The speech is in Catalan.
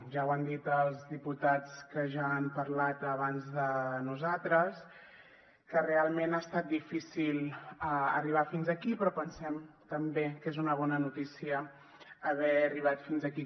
ja ho han dit els diputats que ja han parlat abans de nosaltres que realment ha estat difícil arribar fins aquí però pensem també que és una bona notícia haver arribat fins aquí